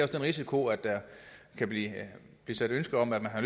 den risiko at der kan blive ytret ønske om at